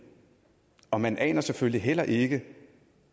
og man aner selvføgelig heller ikke